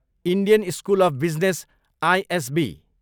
Indian school of business, ISB